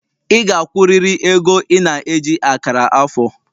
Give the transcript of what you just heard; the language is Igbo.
Ị ga-akwụrịrị ego ị na-eji akara afọ!